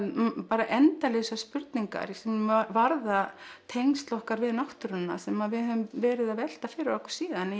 bara endalausar spurningar sem varða tengsl okkar við náttúruna sem við höfum verið að velta fyrir okkur síðan